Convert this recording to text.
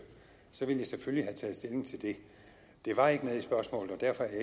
så ville jeg selvfølgelig have taget stilling til det det var ikke med i spørgsmålet og derfor er